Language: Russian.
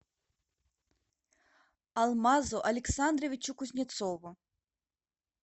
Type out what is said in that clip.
алмазу александровичу кузнецову